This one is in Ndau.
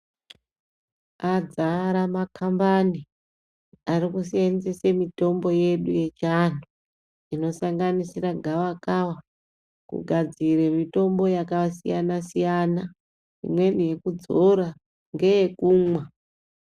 Adzara maKambani arikuseenzesa mitombo yedu yechiandu inosanganisira gavakava kugadzira mitombo yakasiyana siyana imweni yekudzora ngeyekumwa .